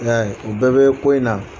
I y'a ye o bɛɛ bɛ ko in na